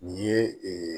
Nin ye ee